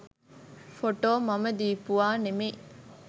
Photo මම දීපුවා නෙමෙයි.